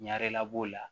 Ɲarela b'o la